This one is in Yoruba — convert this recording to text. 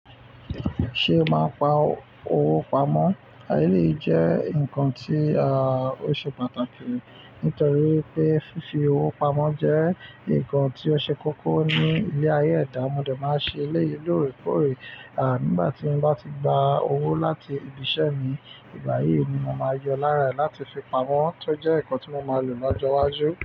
Ṣé ẹ máa ń pa owó pamọ́? Eleyi jẹ́ ǹkan tí ó ṣe pàtàkì, nítorí wipé fífi owó pamọ́ jẹ́ ǹkan tí ó ṣe kókó ní ilé ayé ẹ̀dá. Mode máa ń ṣe eléyìí lóòrèkóòrè. À, nígbà tí n bá ti gba owó láti ibi iṣẹ́ mi, ìgbà yìí ni mo máa yọ lára è láti fi pamọ́, tó jẹ́ ǹkan tí mo máa lò lọ́jọ́ iwájú.